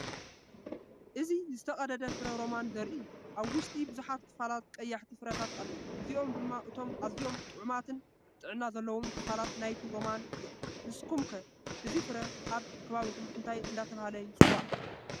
እዚ ዝተቐደደ ፍረ ሮማን ዘርኢ እዩ። ኣብ ውሽጢ ብዙሓት ክፋላት ቀያሕቲ ፍረታት ኣለዉ፣ እዚኦም ድማ እቶም ኣዝዮም ጥዑማትን ጥዕና ዘለዎምን ክፋላት ናይቲ ሮማን እዮም። ንስኩም ከ እዚ ፍረ ኣብ ከባቢኩም እንታይ እንዳተባሃለ ይፅዋዕ?